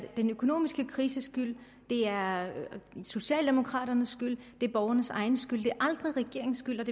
den økonomiske krises skyld det er socialdemokraternes skyld det er borgernes egen skyld men det er aldrig regeringens skyld